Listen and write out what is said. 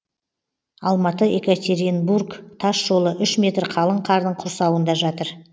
алматы екатеринбург тас жолы үш метр қалың қардың құрсауында жатыр